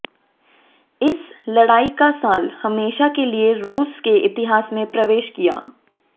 इस लड़ाई का साल हमेशा के लिए रूस के इतिहास में प्रवेश किया